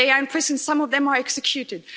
They are in prison, some of them are executed.